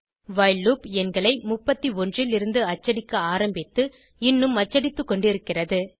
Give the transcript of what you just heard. while loop எண்களை 31 லிருந்து அச்சடிக்க ஆரம்பித்து இன்னும் அச்சடித்துக்கொண்டிருக்கிறது